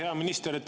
Hea minister!